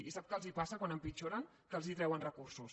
i sap que els passa quan empitjoren que els treuen recursos